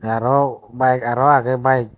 te arow bayek arow agey bayek.